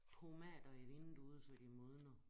Tomater i vinduet så de modner